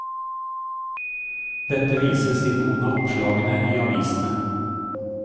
Dette vises i noen av oppslagene i avisene.